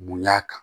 Bonya kan